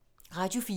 Radio 4